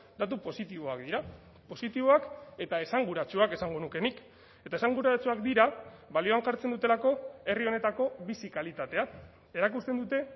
datu positiboak dira positiboak eta esanguratsuak esango nuke nik eta esanguratsuak dira balioan jartzen dutelako herri honetako bizi kalitatea erakusten dute